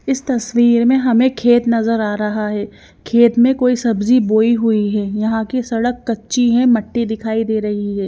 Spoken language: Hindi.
इस तस्वीर में हमें खेत नजर आ रहा है खेत में कोई सब्जी बोई हुई है यहां की सड़क कच्ची है मिट्टी दिखाई दे रही है।